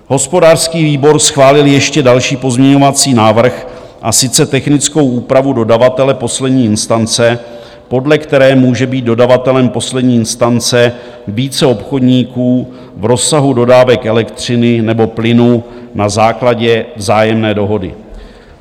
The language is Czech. Hospodářský výbor schválil ještě další pozměňovací návrh, a sice technickou úpravu dodavatele poslední instance, podle které může být dodavatelem poslední instance více obchodníků v rozsahu dodávek elektřiny nebo plynu na základě vzájemné dohody.